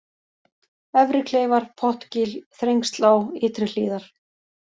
Efri-Kleifar, Pottgil, Þrengslá, Ytri-Hlíðar